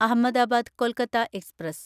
Ahmedabad Kolkata express